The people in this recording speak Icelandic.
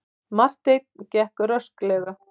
Marteinn gekk rösklega.